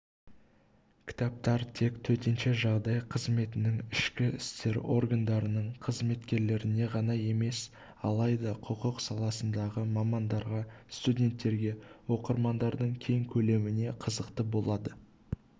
кітаптар тек төтенше жағдай қызметінің ішкі істер органдарының қызметкерлеріне ғана емес алайда құқық саласындағы мамандарға студенттерге оқырмандардың кең көлеміне қызықты болады